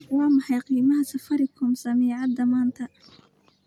Waa maxay qiimaha Safaricom saamiyada maanta?